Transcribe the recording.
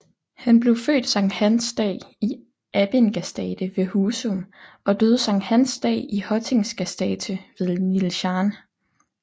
Han blev født Sankt Hans dag i Abbingastate ved Huzum og døde Sankt Hans dag i Hottingastate ved Nijlân